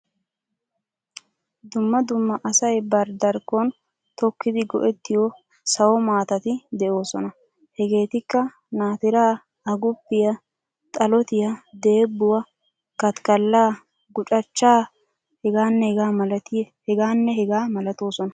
Dumma dumma asay bari darkkon tokkidi go'ettiyo sawo maatati de'oosona. Hegeetikka naatiraa, aguppiya, xalotiya, deebbuwa, katikkallaa, gucachchaa hegaanne hegaa malatoosona.